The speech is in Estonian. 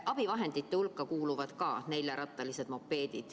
Need kuuluvad ka abivahendite hulka.